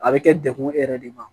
A bɛ kɛ degkun e yɛrɛ de ye